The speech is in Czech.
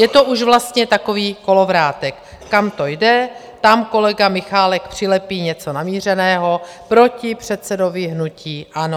Je to už vlastně takový kolovrátek: kam to jde, tam kolega Michálek přilepí něco namířeného proti předsedovi hnutí ANO.